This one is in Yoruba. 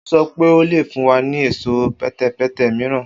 O sọ pe o le fun wa ni ẹṣọ pẹtẹpẹtẹ miiran